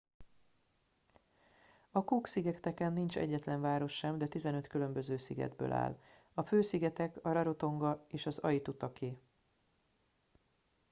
a cook szigeteken nincs egyetlen város sem de 15 különböző szigetből áll a fő szigetek a rarotonga és aitutaki